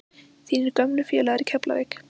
Þínir gömlu félagar í Keflavík?